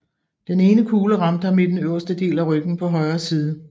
Den ene kugle ramte ham i den øverste del af ryggen på højre side